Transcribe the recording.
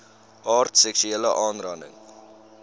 aard seksuele aanranding